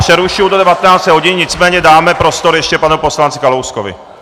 Přerušuji do 19 hodin, nicméně dáme prostor ještě panu poslanci Kalouskovi.